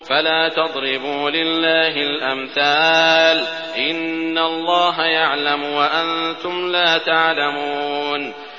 فَلَا تَضْرِبُوا لِلَّهِ الْأَمْثَالَ ۚ إِنَّ اللَّهَ يَعْلَمُ وَأَنتُمْ لَا تَعْلَمُونَ